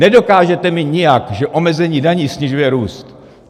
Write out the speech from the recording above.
Nedokážete mi nijak, že omezení daní snižuje růst!